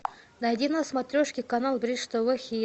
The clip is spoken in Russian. найди на смотрешке канал бридж тв хит